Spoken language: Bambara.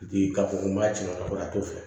Bi k'a fɔ ko n b'a cɛ ka bɔ a t'o fɛ